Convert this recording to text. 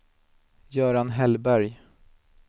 Göran Hellberg